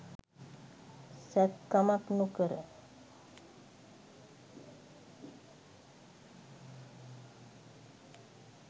සැත්කමක් නොකර